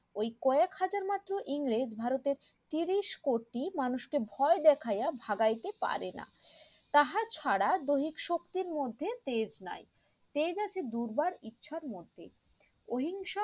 ওই কয়েক হাজার মাত্র ইংরেজ ভারতের তিরিশ কোটি মানুষ কে ভয় দেখাইয়া ভাগাইতে পারেনা তাহা ছাড়া দহিত শক্তির মধ্যে তেজ নাই তেজ আছে দুর্গার ইচ্ছা র মধ্যে অহিংসা